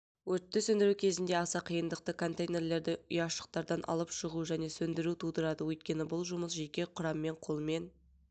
өртті сөндіру кезінде аса қиындықты контейнерлерді ұяшықтардан алып шығу және сөндіру тудырады өйткені бұл жұмыс жеке құраммен қолмен